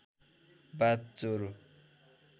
बाथ ज्वरो